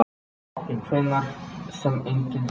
Tæknin hefur tekið stakkaskiptum frá tilraunum Tesla.